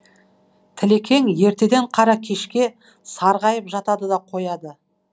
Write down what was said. тілекең ертеден қара кешке сарғайып жатады да қояды